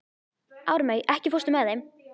Ármey, ekki fórstu með þeim?